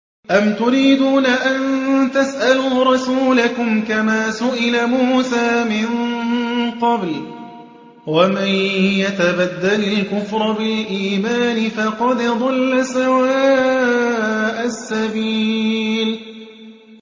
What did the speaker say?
أَمْ تُرِيدُونَ أَن تَسْأَلُوا رَسُولَكُمْ كَمَا سُئِلَ مُوسَىٰ مِن قَبْلُ ۗ وَمَن يَتَبَدَّلِ الْكُفْرَ بِالْإِيمَانِ فَقَدْ ضَلَّ سَوَاءَ السَّبِيلِ